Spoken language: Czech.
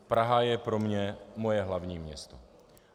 Praha je pro mě moje hlavní město.